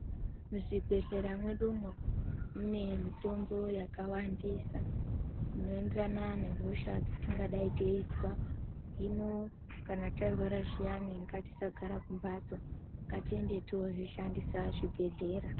Muzvibhehleya mwedumwo mune mitombo yakawandisa inoenderana nehosha dzatingadaro teinzwa hino kana tarwara zviyani gatisagara kumbatso ngatiende tinozvishandisa zvibhehlera.